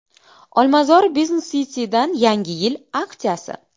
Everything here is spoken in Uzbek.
Olmazor Business City’dan yangi yil aksiyasi.